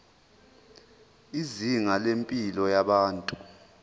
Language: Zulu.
izinga lempilo yabantu